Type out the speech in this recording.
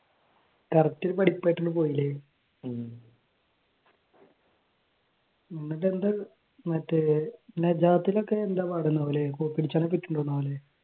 Correct ഒരു പഠിപ്പ് ആയിട്ട് അങ്ങോട്ട് പോയി അല്ലേ? എന്നിട്ട് എന്താ മറ്റേ നജാത്തിൽ ഒക്കെ എന്താ പഠനം അല്ലേ? കോപ്പിയടിച്ചാൽ